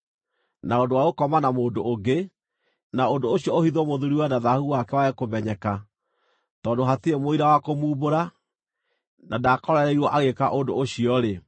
na ũndũ wa gũkoma na mũndũ ũngĩ, na ũndũ ũcio ũhithwo mũthuuriwe na thaahu wake wage kũmenyeka (tondũ hatirĩ mũira wa kũmuumbũra, na ndaakorereirwo agĩĩka ũndũ ũcio-rĩ),